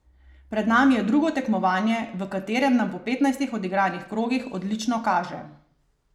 Pred nami je drugo tekmovanje, v katerem nam po petnajstih odigranih krogih odlično kaže.